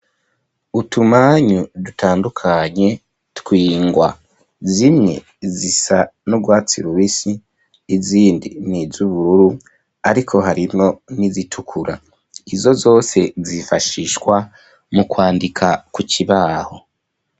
Utumanyu, dutandukanye, tw’ingwa; zimwe, zisa n'urwatsi rubisi, izindi ni iz'ubururu, ariko harimwo n'izitukura; izo zose, zifashishwa mu kwandika, ku kibaho.